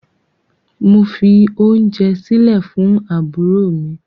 Mo fi ounje sile fun aburo mi